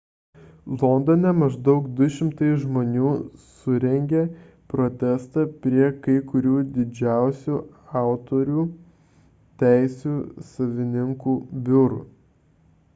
londone maždaug 200 žmonių surengė protestą prie kai kurių didžiausių autorių teisių savininkų biurų